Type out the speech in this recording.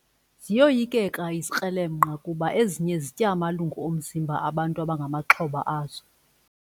Ziyoyikeka izikrelemnqa kuba ezinye zitya amalungu omzimba bantu abangamaxhoba azo.